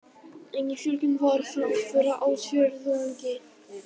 Engin fjölgun var frá fyrra ársfjórðungi